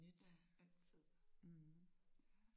Ja altid